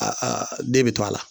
den bi to a la.